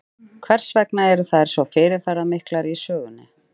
Hvers vegna eru þær svo fyrirferðamiklar í sögunni?